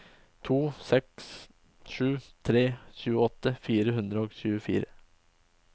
to sju seks tre tjueåtte fire hundre og tjuefire